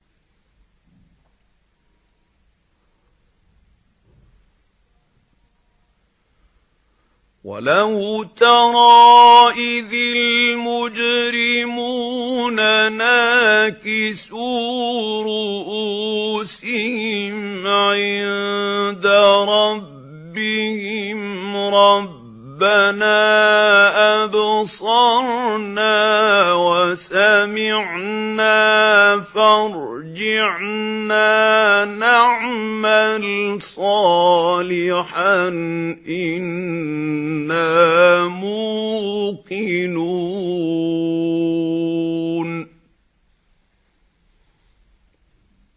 وَلَوْ تَرَىٰ إِذِ الْمُجْرِمُونَ نَاكِسُو رُءُوسِهِمْ عِندَ رَبِّهِمْ رَبَّنَا أَبْصَرْنَا وَسَمِعْنَا فَارْجِعْنَا نَعْمَلْ صَالِحًا إِنَّا مُوقِنُونَ